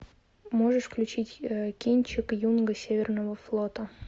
можешь включить кинчик юнга северного флота